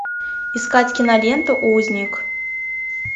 искать киноленту узник